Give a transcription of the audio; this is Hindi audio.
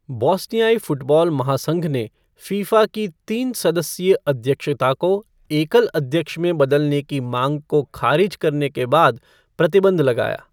बोस्नियाई फ़ुटबॉल महासंघ ने फ़ीफ़ा की तीन सदस्यीय अध्यक्षता को एकल अध्यक्ष में बदलने की मांग को खारिज करने के बाद प्रतिबंध लगाया।